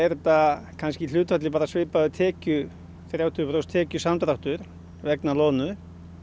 þetta kannski í hlutfalli bara svipað um þrjátíu prósent tekjusamdráttur vegna loðnu